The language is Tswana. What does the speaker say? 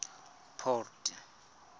port